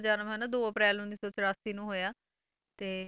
ਜਨਮ ਹਨਾ ਦੋ ਅਪ੍ਰੈਲ ਉੱਨੀ ਸੌ ਚੁਰਾਸੀ ਨੂੰ ਹੋਇਆ, ਤੇ